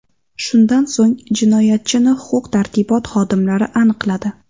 Shundan so‘ng jinoyatchini huquq-tartibot xodimlari aniqladi.